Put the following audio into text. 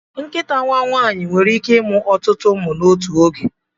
Nkịta nwaanyị nwere ike ịmụ ọtụtụ ụmụ n'otu oge.